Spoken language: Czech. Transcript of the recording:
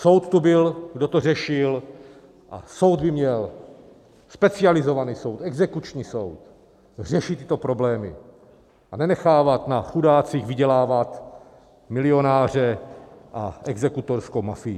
Soud tu byl, kdo to řešil, a soud by měl - specializovaný soud, exekuční soud - řešit tyto problémy a nenechávat na chudácích vydělávat milionáře a exekutorskou mafii.